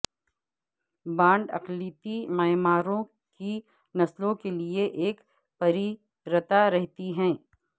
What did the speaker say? bond اقلیتی معماروں کی نسلوں کے لئے ایک پریرتا رہتی ہے